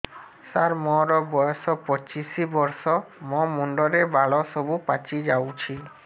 ସାର ମୋର ବୟସ ପଚିଶି ବର୍ଷ ମୋ ମୁଣ୍ଡରେ ବାଳ ସବୁ ପାଚି ଯାଉଛି